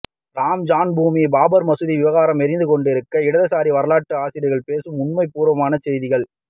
ராம் ஜன்மபூமி பாபர்மசூதி விவகாரம் எரிந்துகொண்டிருக்க இடதுசாரி வரலாற்று ஆசிரியர்கள் பேசும் உண்மைக்குப்புறம்பான செய்திகள்